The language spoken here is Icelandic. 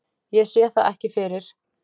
Ég sé það ekki fyrir.